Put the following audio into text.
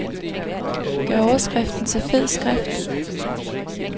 Gør overskriften til fed skrift.